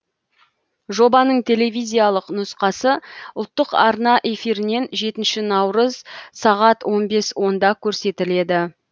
жобаның телевизиялық нұсқасы ұлттық арна эфирінен жетінші наурыз сағат он бес онда көрсетіледі